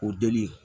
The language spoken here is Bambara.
O deli